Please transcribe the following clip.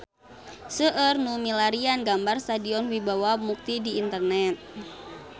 Seueur nu milarian gambar Stadion Wibawa Mukti di internet